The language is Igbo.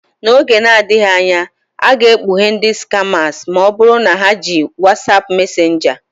N'oge na-adịghị anya, a ga-ekpughe ndị skamas ma ọ bụrụ na ha na-eji WhatsApp Mesenjaa.